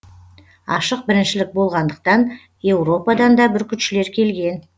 ашық біріншілік болғандықтан еуропадан да бүркітшілер келген